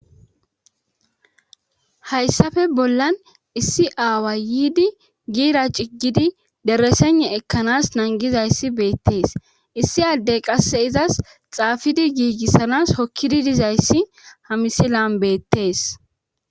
Hayssafe bollan issi aawa yiidi giira ciggidi deresene ekkanas nangizayssi beettees issi addey qasse izas xaafidi giigissanas hokkidi dizayssi hamisilan beettees